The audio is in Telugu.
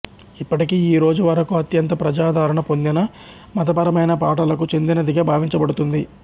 ఇప్పటికీ ఈ రోజు వరకు అత్యంత ప్రజాదరణ పొందిన మతపరమైన పాటలకు చెందినదిగా భావించబడుతుంది